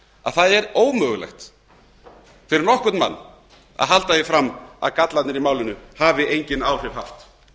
að það er ómögulegt fyrir nokkurn mann að halda því fram að gallarnir í málinu hafi engin áhrif haft